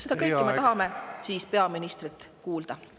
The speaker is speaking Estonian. Seda kõike tahame peaministrilt kuulda.